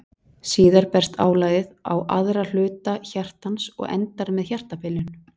Síðar berst álagið á aðra hluta hjartans og endar með hjartabilun.